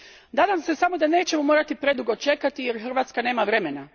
Nadam se samo da nećemo morati predugo čekati jer Hrvatska nema vremena.